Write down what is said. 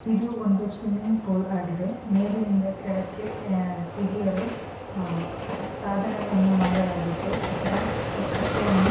ಇದು ಒಂದು swimming pool ಆಗಿದೆ. ಮೇಲಿನಿಂದ ಕೆಳಕ್ಕೆ ಜಿಗಿಯಲು ಸಾಧನ ಒಂದು ಮಾಡಲಾಗಿದ್ದು ಇದರಕಟ್ಟೆಯನ್ನು..